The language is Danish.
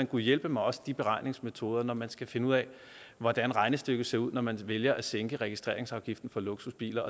gud hjælpe mig også de beregningsmetoder når man skal finde ud af hvordan regnestykket ser ud når man vælger at sænke registreringsafgiften på luksusbiler